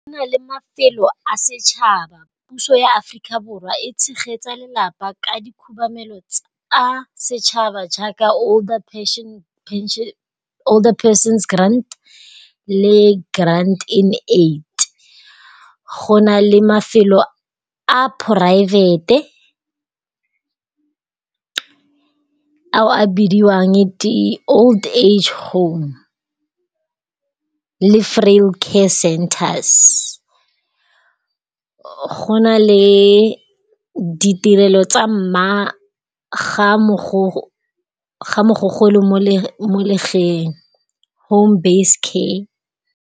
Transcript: Go na le mafelo a setšhaba, puso ya Africa Borwa e tshegetsa lelapa ka dikhubamelo tsa setšhaba jaaka older persons grant le grant in aid. Go na le mafelo a poraefete ao a bidiwang di-old age home le frail care centers. Go na le ditirelo tsa mma ga mogogolo mo legeng, home-based care.